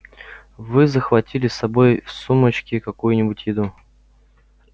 вы захватили с собой в сумочке какую-нибудь еду